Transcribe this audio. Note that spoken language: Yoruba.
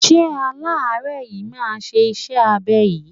Ṣé aláárẹ̀ yìí máa ye iṣẹ́ abẹ yìí?